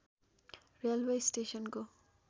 railway स्टेशनको